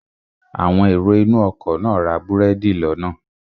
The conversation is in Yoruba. Àwọn èrò inú ọkọ̀ náà ra búrẹ́dì lọ́nà